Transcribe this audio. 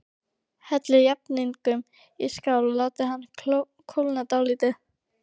Hellið jafningnum í skál og látið hann kólna dálítið.